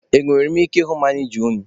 E nwere m ike ịhụ manịja unu?